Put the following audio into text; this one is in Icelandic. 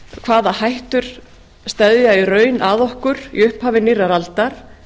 hvaða hættur steðja í raun að okkur í upphafi nýrrar aldar